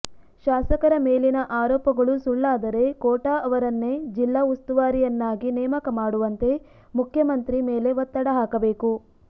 ಶಾಸಕರ ಮೇಲಿನ ಆರೋಪಗಳು ಸುಳ್ಳಾದರೆ ಕೋಟ ಅವರನ್ನೇ ಜಿಲ್ಲಾ ಉಸ್ತುವಾರಿಯನ್ನಾಗಿ ನೇಮಕ ಮಾಡುವಂತೆ ಮುಖ್ಯಮಂತ್ರಿ ಮೇಲೆ ಒತ್ತಡ ಹಾಕಬೇಕು